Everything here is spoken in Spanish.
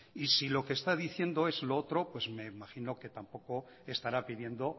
y si lo que está diciendo es lo otro pues me imagino que tampoco le estará pidiendo